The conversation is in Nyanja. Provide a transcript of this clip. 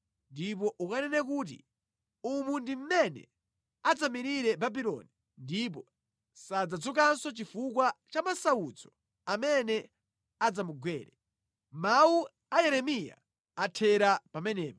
Ndipo ukanene kuti, ‘Umu ndi mmene adzamirire Babuloni ndipo sadzadzukanso chifukwa cha masautso amene adzamugwere.’ ” Mawu a Yeremiya athera pamenepa.